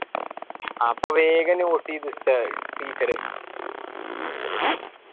അപ്പൊ വേഗം note എയ്ത ഉസ്താദ് teacher